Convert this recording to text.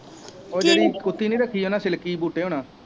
ਉਹ ਜਿਹੜੀ ਕੁੱਤੀ ਨਹੀਂ ਰੱਖੀ ਉਹਨਾ ਸਿਲਕੀ ਬੂਟੇ ਹੁਣਾਂ